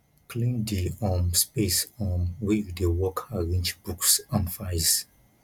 clean di um space um wey you dey work arrange books and files